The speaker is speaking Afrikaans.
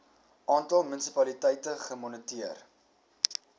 aantal munisipaliteite gemoniteer